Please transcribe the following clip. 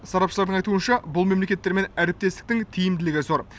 сарапшылардың айтуынша бұл мемлекеттермен әріптестіктің тиімділігі зор